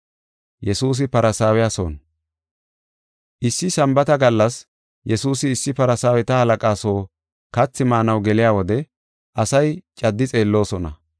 Issi Sambaata gallas Yesuusi issi Farsaaweta halaqa soo kathi maanaw geliya wode asay caddi xeelloosona.